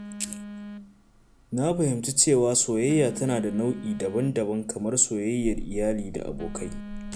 Na fahimci cewa soyayya tana da nau’o’i daban-daban kamar soyayyar iyali da abokai.